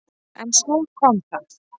En svo kom það!